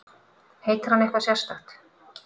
Heitir hann eitthvað sérstakt?